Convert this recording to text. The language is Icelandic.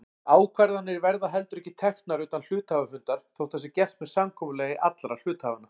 Ákvarðanir verða heldur ekki teknar utan hluthafafundar þótt það sé gert með samkomulagi allra hluthafanna.